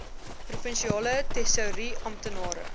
provinsiale tesourie amptenare